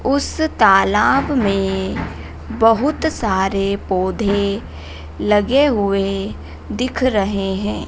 उस तालाब में बहुत सारे पौधे लगे हुए दिख रहे हैं।